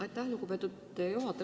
Aitäh, lugupeetud juhataja!